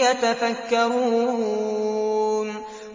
يَتَفَكَّرُونَ